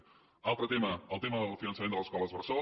un altre tema el tema del finançament de les escoles bressol